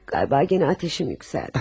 Qayba genə atəşim yüksəldi.